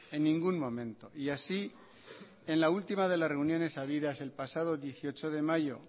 en ningún momento y así en la última de las reuniones habidas el pasado dieciocho de mayo